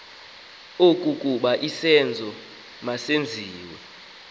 okokuba isenzo masenziwe